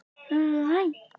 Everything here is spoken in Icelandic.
Steinar, hringdu í Freymund.